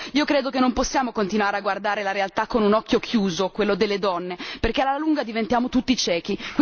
Ecco, io credo che non possiamo continuare a guardare la realtà con un occhio chiuso, quello delle donne, perché alla lunga diventiamo tutti ciechi.